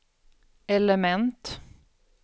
element